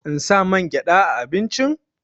In sa mangyaɗa a abincin?